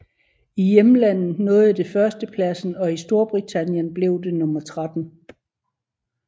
I hjemlandet nåede det førstepladsen og i Storbritannien blev det nummer 13